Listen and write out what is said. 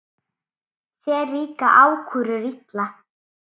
Þér líka ákúrur illa.